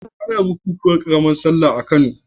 Ana bukunkunan ƙaramar sallah a Kano.